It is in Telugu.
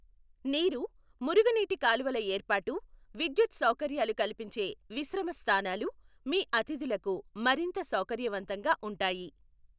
నీరు, మురుగునీటి కాలువల యేర్పాటు, విద్యుత్తు సౌకర్యాలు కల్పించే విశ్రమస్థానాలు మీ అతిథులకు మరింత సౌకర్యవంతంగా ఉంటాయి.